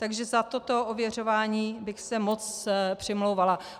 Takže za toto ověřování bych se moc přimlouvala.